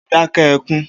O óò dáké̩ e̩kún!